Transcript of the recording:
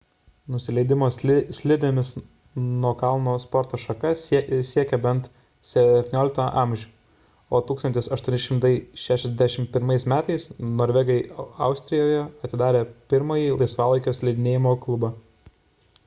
nusileidimo slidėmis nuo kalno sporto šaka siekia bent 17 amžių o 1861 m norvegai austrijoje atidarė pirmąjį laisvalaikio slidinėjimo klubą